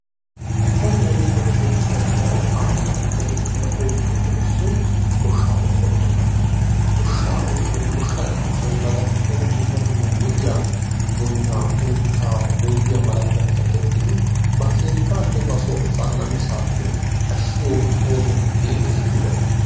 Nu biittan woykko toophphiyan daro aahuwan erettida oosuwappe issoyi goshshaa oosuwa giyooga. Goshshaa oosoyi goshshanchchayi ba darkkon dumma dumma lo"iya boynaa, uuttaa, boyyiya malatiyabata tokkidi ba keettaanne ba so asaa namisaappe ashshiyo ooso geettes giyogaa.